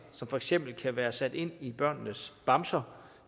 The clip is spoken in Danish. som for eksempel kan være sat ind i børnenes bamser